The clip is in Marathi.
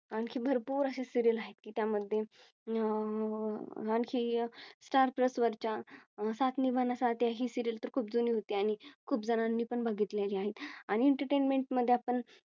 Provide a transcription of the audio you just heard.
आणखी भरपूर अशा Serial आहेत की त्यामध्ये अह आणखी अह Star plus वरच्या साथ निभाना साथिया ही Serial तर खूप जुनी होती आणि खूप जणांनी पण बघितलेली आहेत आणि Entertainment मध्ये आपण